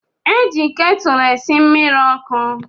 Eji ketúlú esi mmiri okú.